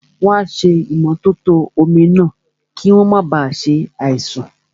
Wọ́n ṣé ìmótótó omi náà, kí wọ́n máa ba ṣe àìsàn